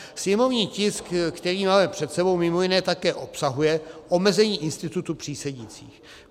Sněmovní tisk, který máme před sebou, mimo jiné také obsahuje omezení institutu přísedících.